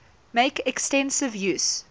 make extensive use